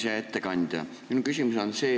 Hea ettekandja!